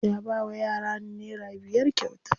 Ya bawa yaran nera biyar kyauta.